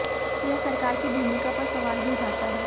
यह सरकार की भूमिका पर सवाल भी उठाता है